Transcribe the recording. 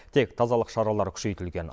тек тазалық шаралары күшейтілген